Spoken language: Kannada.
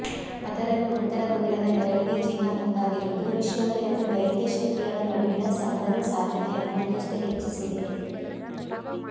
ಅದರಲ್ಲೂ ಉತ್ತರ ಕೊರಿಯಾದ ನೆರವಿಗೆ ಚೀನಾ ಮುಂದಾಗಿರುವುದು ವಿಶ್ವದ ಎರಡು ದೈತ್ಯ ಶಕ್ತಿಗಳ ನಡುವಿನ ಸಮರದ ಸಾಧ್ಯತೆಯನ್ನು ಮತ್ತಷ್ಟುಹೆಚ್ಚಿಸಿದೆ